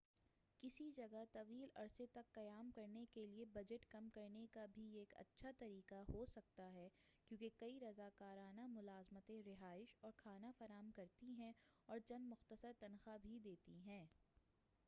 کسی جگہ طویل عرصے تک قیام کرنے کیلئے بجٹ کم کرنے کا بھی یہ ایک اچّھا طریقہ ہو سکتا ہے کیونکہ کئی رضاکارانہ ملازمتیں رہائش اور کھانا فراہم کرتی ہیں اور چند مختصر تنخواہ بھی دیتی ہیں